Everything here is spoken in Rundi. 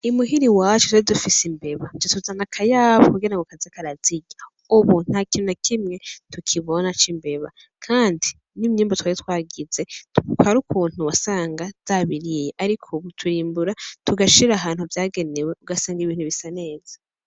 Muhira iwacu rero dufise imbeba tuca tuzana akayabu kugira ngo kaze karazirya ubu ntakintu na kimwe tukibona c'imbeba kandi n'imyimbu twari twagize hariho ukuntu wasanga zabiriye ariko ubu turimbura tugashira ahantu vyagenewe ugasanga ibintu bisa neza